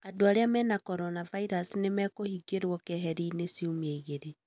Andũ arĩa mena coronavirus nĩmekũhingĩrwo keeheri-ini ciumia igĩrĩ